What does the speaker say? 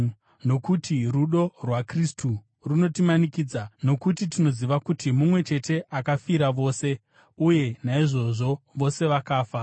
Nokuti rudo rwaKristu runotimanikidza, nokuti tinoziva kuti mumwe chete akafira vose, uye naizvozvo vose vakafa.